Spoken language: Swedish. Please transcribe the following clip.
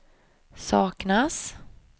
saknas